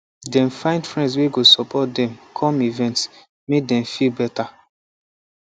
dem find friend wey go support dem come events make dem feel better